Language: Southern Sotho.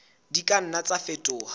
di ka nna tsa fetoha